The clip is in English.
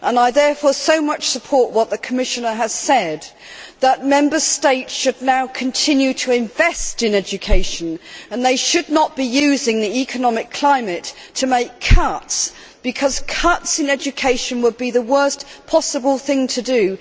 I therefore strongly support what the Commissioner has said, that Member States should now continue to invest in education and should not be using the economic climate to make cuts, because making cuts in education would be the worse possible thing to do.